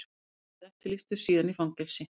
Fyrst eftirlýstur, síðan í fangelsi.